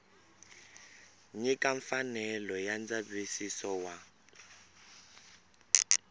nyika mfanelo ya ndzavisiso wa